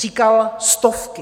Říkal stovky.